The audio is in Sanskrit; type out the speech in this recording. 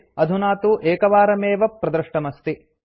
अधुना तु एकवारमेव प्रदृष्टमस्ति